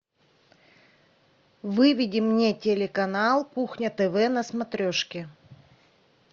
выведи мне телеканал кухня тв на смотрешке